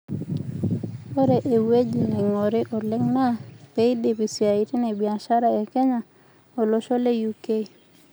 Ore ewueji neingori oleng naa peidipi isiatin e biashara e Kenya olosho le UK.